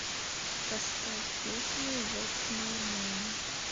поставь песню вотс май нэйм